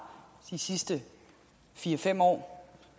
de sidste fire fem år